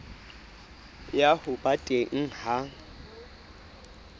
ya ho ba teng ha